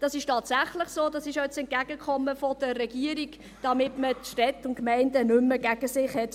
Das ist tatsächlich so, das ist ja auch das Entgegenkommen der Regierung, damit man die Städte und Gemeinden nicht mehr gegen sich hat.